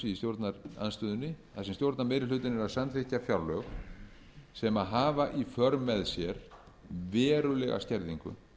standa að þessu í stjórnarandstöðunni þar sem stjórnarmeirihlutinn er að samþykkja fjárlög sem hafa í för með sér verulega skerðingu